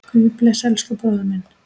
Guð blessi elsku bróður minn.